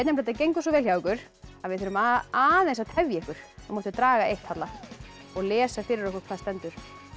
þetta gengur svo vel hjá ykkur að við þurfum aðeins að tefja ykkur nú máttu draga eitt Halla og lesa fyrir okkur hvað stendur